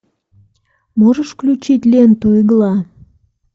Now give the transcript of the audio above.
можешь включить ленту игла